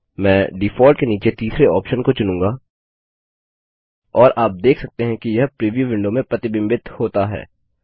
मैं डिफॉल्ट के नीचे तीसरे ऑप्शन को चुनूँगा और आप देख सकते हैं कि यह प्रीव्यू विंडो में प्रतिबिंबित होता है